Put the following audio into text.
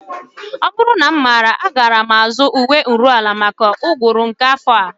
Ọ bụrụ na m maara agaara m azụrụ uwe nruala maka oyi uguru nke afọ a